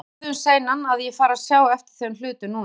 Það er orðið um seinan, að ég fari að sjá eftir þeim hlutum núna.